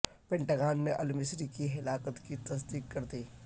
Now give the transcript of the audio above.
Pentagon نے المصری کی ہلاکت کی تصدیق کر دی